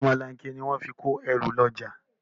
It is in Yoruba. Ọ̀mọlanke ni wọ́n fi ń kẹ́ru lọ́jà